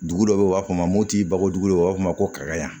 Dugu dɔ bɛ yen u b'a fɔ ma ko bagojugu u b'a fɔ ma ko kakaɲa